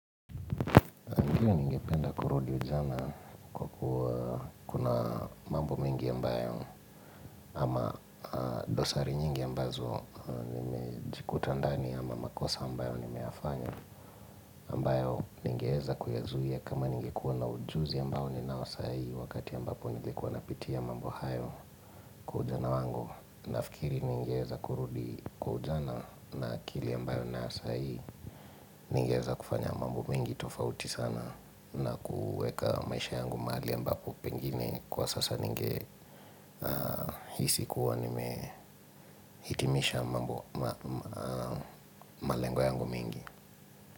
Ndiyo ningependa kurudi ujana kwa kuwa kuna mambo mengi ambayo ama dosari nyingi ambazo nimejikuta ndani ama makosa ambayo nimeyafanya ambayo ningeweza kuyazuiya kama ningekuwa na ujuzi ambao ninaosai wakati ambapo nilikuwa napitia mambo hayo kwa ujana wangu. Nafikiri ningeweza kurudi kwa ujana na akili ambayo nayo sai Ningeweza kufanya mambo mengi tofauti sana na kuweka maisha yangu mahali ambapo pengine kwa sasa ninge hisikuwa nimehitimisha mambo malengo yangu mengi.